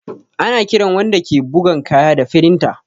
Ana kiran wanda ke bugan kaya da firinta